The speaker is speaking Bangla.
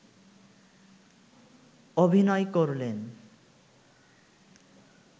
অভিনয় করলেন